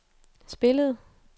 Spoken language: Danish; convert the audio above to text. spillede